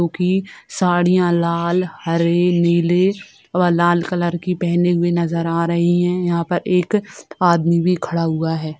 जो की साड़ियां लाल हरे नीले व लाल कलर की पहनी हुई नजर आ रही है यहां पर एक आदमी भी खड़ा हुआ है।